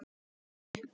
Má það ekki alveg?